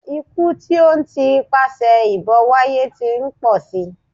Ikú tí ó ń ti ipasẹ̀ ìbọn wáyé tí ń pọ̀ si.